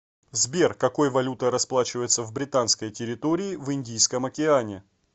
сбер какой валютой расплачиваются в британской территории в индийском океане